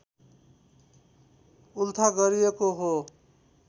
उल्था गरिएको हो